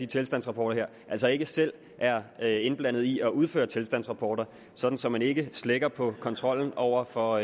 tilstandsrapporterne altså ikke selv er er indblandet i at udføre tilstandsrapporter så så man ikke slækker på kontrollen over for